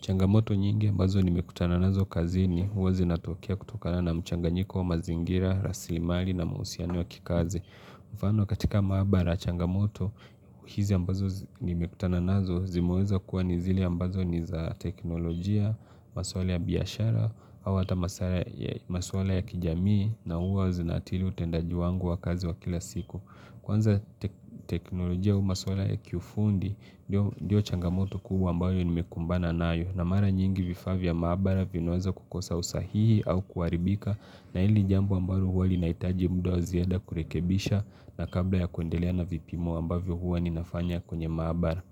Changamoto nyingi ambazo nimekutana nazo kazini huwa zinatokea kutokana na mchanganyiko wa mazingira, rasilimali na mausiano ya kikazi. Mfano katika maabara changamoto, hizi ambazo nimekutana nazo zimeweza kuwa ni zile ambazo ni za teknolojia, maswali ya biyashara, hawa hata maswala ya kijamii na huwa zinaathiri utendaji wangu wa kazi wa kila siku. Kwanza teknolojia au maswala ya kufundi ndio ndiyo changamoto kubwa ambayo nimekumbana nayo na mara nyingi vifa vya maabara vinaweza kukosa usahihi au kuaribika na hili jambo ambalo huwa linaitaji muda wa ziada kurekebisha na kabla ya kuendelea na vipimo ambavyo huwa ninafanya kwenye maabara.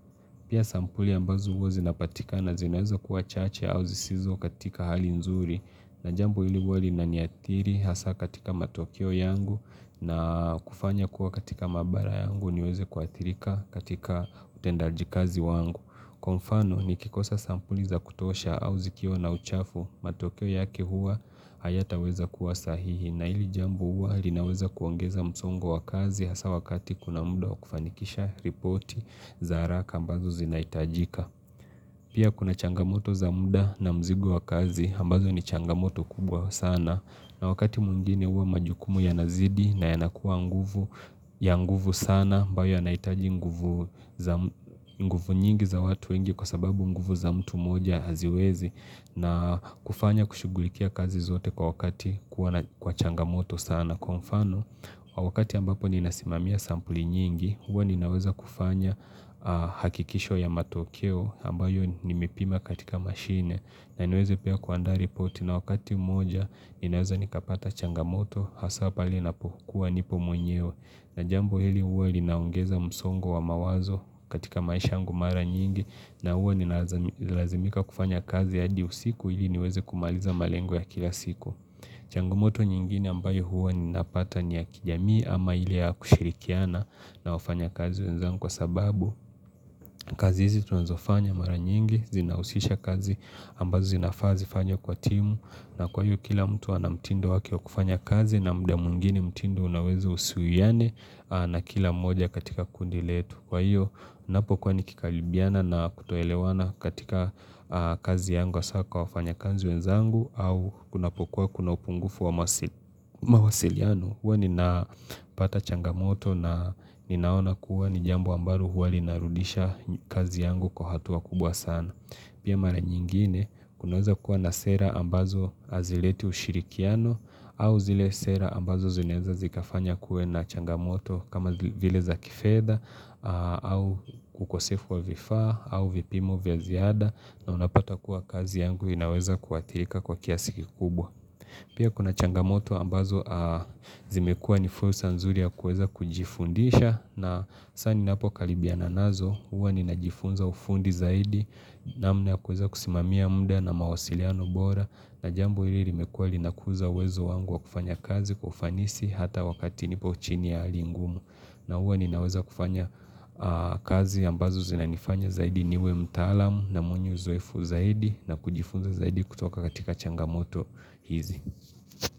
Pia sampuli ambazo hua zinapatikana zinaweza kuwa chache au zisizo katika hali nzuri na jambo hili huwa linaniatiri hasa katika matokeo yangu na kufanya kuwa katika mabara yangu niweze kuatirika katika utendaji kazi wangu. Kwa mfano nikikosa sampuli za kutosha au zikiwa na uchafu, matokeo yake huwa hayataweza kuwa sahihi na hili jambo huwa linaweza kuongeza msongo wa kazi hasa wakati kuna mda wa kufanikisha ripoti za haraka ambazo zinaitajika. Pia kuna changamoto za muda na mzigo wa kazi ambazo ni changamoto kubwa sana na wakati mwingine huwa majukumu yanazidi na yanakuwa nguvu ya nguvu sana ambayo yanaitaji nguvu za nguvu nyingi za watu wengi kwa sababu nguvu za mtu moja haziwezi na kufanya kushugulikia kazi zote kwa wakati kwa changamoto sana. Na kwa mfano, kwa wakati ambapo ninasimamia sampuli nyingi, huwa ninaweza kufanya hakikisho ya matokeo ambayo nimipima katika mashine na niweze pia kuanda reporti na wakati moja inaweza nikapata changamoto hasa pale ninapokua nipo mwenyeo na jambo hili huwa linaongeza msongo wa mawazo katika maisha yangu mara nyingi na huwa ninalazimika kufanya kazi hadi usiku hili niweze kumaliza malengu ya kila siku. Changamoto nyingine ambayo huwa ninapata ni ya kijamii ama ile ya kushirikiana na wafanyakazi wenzangu kwa sababu kazi hizi tunazofanya mara nyingi zinahusisha kazi ambazo zinafaa zifanywe kwa timu na kwa hiyo kila mtu anamtindo wake wa kufanya kazi na mda mwingine mtindo unaweza usuiyane na kila moja katika kundi letu kwa hiyo napokuwa nikikalibiana na kutoelewana katika kazi yangu asa kwa wafanyakazi wenzangu au kunapokuwa kuna upungufu wa mawasiliano. Huwa nina pata changamoto na ninaona kuwa nijambo ambalo huwa linarudisha kazi yangu kwa hatua kubwa sana. Pia mara nyingine kunaweza kuwa na sera ambazo hazileti ushirikiano au zile sera ambazo zineza zikafanya kue na changamoto kama vile za kifeda au kukosefu wa vifa au vipimo vya ziada na unapata kuwa kazi yangu inaweza kuathirika kwa kiasiki kubwa. Pia kuna changamoto ambazo zimekua nifrusa nzuri ya kuweza kujifundisha na sa ninapo kalibiana nazo huwa ninajifunza ufundi zaidi namna ya kuweza kusimamia mda na mawasiliano bora na jambo hili limekua linakuza uwezo wangu wa kufanya kazi kwa ufanisi hata wakati nipo uchini ya hali ngumu na huwa ninaweza kufanya kazi ambazo zinanifanya zaidi niwe mtalam na mwenye uzoefu zaidi na kujifunza zaidi kutoka katika changamoto hizi.